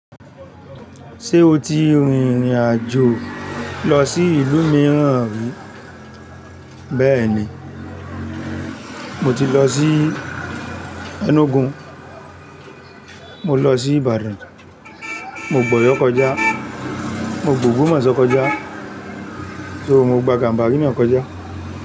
Ṣé o ti rìnrìn àjò lọ sí ìlú mìíràn rí? Bẹ́ẹ̀ni, mo ti lọ sí Enugu, mo lọ sí Ibadan, mo gb'oyo kọjá, mo gb'ogbomoso kọ̀jà, ṣo mo gba ganbari náà kọjà.